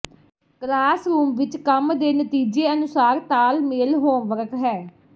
classroom ਵਿੱਚ ਕੰਮ ਦੇ ਨਤੀਜੇ ਅਨੁਸਾਰ ਤਾਲਮੇਲ ਹੋਮਵਰਕ ਹੈ